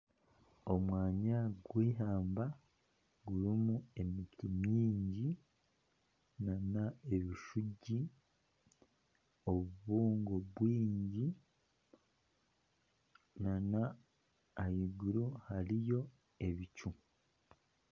Omwanya gw'ihamba gurimu emiti mingi nana ebishuugi, obubugo bwingi nana ahaiguru hariyo ebicu